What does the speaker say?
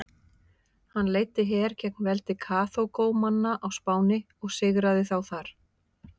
Hann leiddi her gegn veldi Karþagómanna á Spáni og sigraði þá þar.